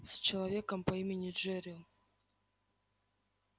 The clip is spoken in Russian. с человеком по имени джерилл